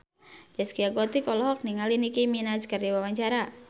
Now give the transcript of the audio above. Zaskia Gotik olohok ningali Nicky Minaj keur diwawancara